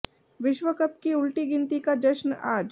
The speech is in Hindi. विश्व कप की उलटी गिनती का जश्न आज